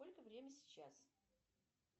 сколько время сейчас